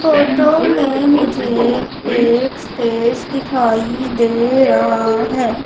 Photo में मुझे एक स्टेज दिखाई दे रहा है।